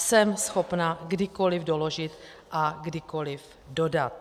Jsem schopna kdykoliv doložit a kdykoliv dodat.